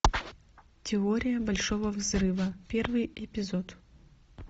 теория большого взрыва первый эпизод